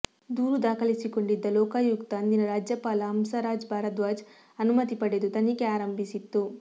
ದೂರು ದಾಖಲಿಸಿಕೊಂಡಿದ್ದ ಲೋಕಾಯುಕ್ತ ಅಂದಿನ ರಾಜ್ಯಪಾಲ ಹಂಸರಾಜ್ ಭಾರಧ್ವಜ್ ಅನುಮತಿ ಪಡೆದು ತನಿಖೆ ಆರಂಭಿಸಿತ್ತು